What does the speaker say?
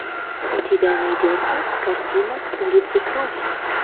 у тебя найдется картина улицы крови